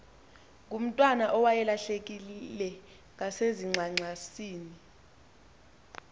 ngomntwana owayelahlekile ngasezingxangxasini